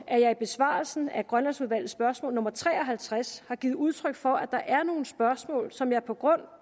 at jeg i besvarelsen af grønlandsudvalgets spørgsmål nummer tre og halvtreds har givet udtryk for at der er nogle spørgsmål som jeg på grund